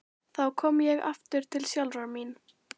Þá kom ég aftur til sjálfrar mín.